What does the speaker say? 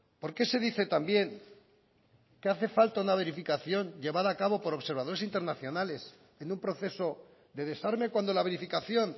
por qué se dice también que hace falta una verificación llevada a cabo por observadores internacionales en un proceso de desarme cuando la verificación